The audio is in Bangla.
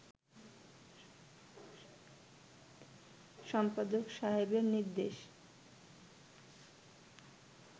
সম্পাদক সাহেবের নির্দেশ